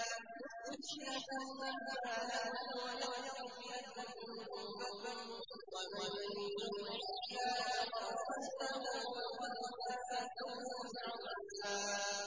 يُصْلِحْ لَكُمْ أَعْمَالَكُمْ وَيَغْفِرْ لَكُمْ ذُنُوبَكُمْ ۗ وَمَن يُطِعِ اللَّهَ وَرَسُولَهُ فَقَدْ فَازَ فَوْزًا عَظِيمًا